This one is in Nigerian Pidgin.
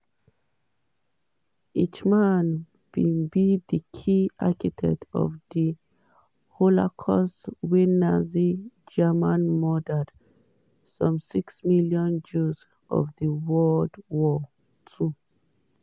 eichmann bin be key architect of di holocaust wia nazi germany murder some six million jews for world war ii.